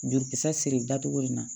Jolikisɛ siri dacogo in na